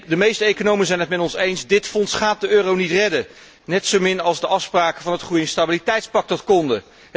De meeste economen zijn het met ons eens dit fonds gaat de euro niet redden, net zomin als de afspraken van het groei en stabiliteitspact dat konden.